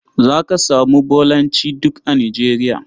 Za ka samu Bolancj duk a Nigeria.